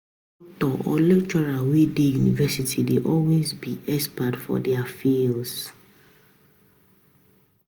Di instructors or lecturers wey de university dey always be expert for their fields